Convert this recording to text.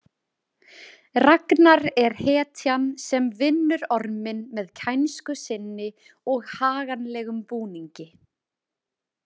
Ragnar er hetjan sem vinnur orminn með kænsku sinni og haganlegum búningi .